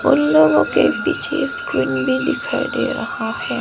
उन लोगों के पीछे स्क्रीन भी दिखाई दे रहा है।